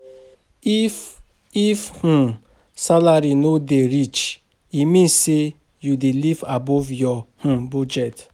If If um salary no dey reach, e mean say you dey live above your um budget.